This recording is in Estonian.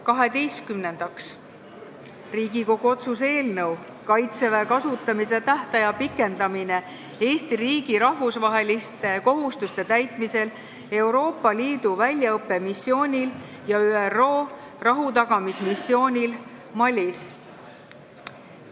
Kaheteistkümnendaks, Riigikogu otsuse "Kaitseväe kasutamise tähtaja pikendamine Eesti riigi rahvusvaheliste kohustuste täitmisel Euroopa Liidu väljaõppemissioonil ja ÜRO rahutagamismissioonil Malis" eelnõu.